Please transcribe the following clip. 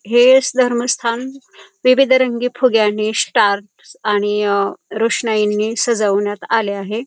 हे धर्मस्थान विविध रंगी फुग्यांनी स्टार्स आणि अ रोशनाईंनी सजवण्यात आले आहे.